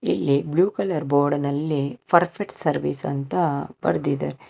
ಇಲ್ಲಿ blue colour ಬೋರ್ಡನಲ್ಲಿ perfect service ಅಂತ ಬರೆದಿದ್ದಾರೆ.